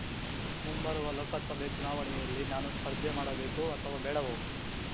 ಮುಂಬರುವ ಲೋಕಸಭೆ ಚುನಾವಣೆಯಲ್ಲಿ ನಾನು ಸ್ಪರ್ಧೆ ಮಾಡಬೇಕೋ ಅಥವಾ ಬೇಡವೋ